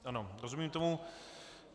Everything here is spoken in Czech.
Ano, rozumím tomu.